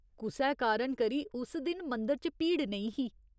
कुसै कारण करी उस दिन मंदर च भीड़ नेईं ही।